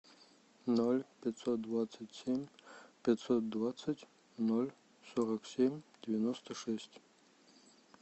ноль пятьсот двадцать семь пятьсот двадцать ноль сорок семь девяносто шесть